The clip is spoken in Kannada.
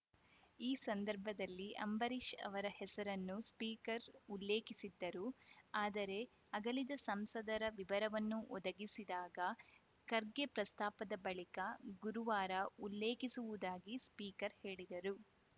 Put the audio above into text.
ಈ ಸಂದರ್ಭದಲ್ಲಿ ಅಂಬರೀಷ್‌ ಅವರ ಹೆಸರನ್ನು ಸ್ಪೀಕರ್‌ ಉಲ್ಲೇಖಿಸಿದ್ದರು ಆದರೆ ಅಗಲಿದ ಸಂಸದರ ವಿವರನ್ನು ಒದಗಿಸಿದಾಗ ಖರ್ಗೆ ಪ್ರಸ್ತಾಪ ಬಳಿಕ ಗುರುವಾರ ಉಲ್ಲೇಖಿಸುವುದಾಗಿ ಸ್ಪೀಕರ್‌ ಹೇಳಿದರು